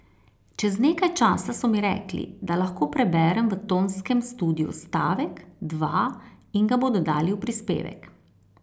Čez nekaj časa so mi rekli, da lahko preberem v tonskem studiu stavek, dva in ga bodo dali v prispevek.